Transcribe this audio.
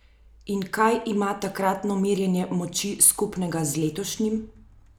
In kaj ima takratno merjenje moči skupnega z letošnjim?